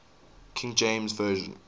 king james version